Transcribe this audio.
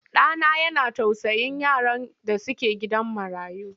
Ɗa na yana tausayin yaran da suke gidan marayu.